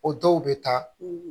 O dɔw bɛ taa